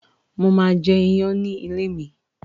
Máà jẹ iyán ní ilé mi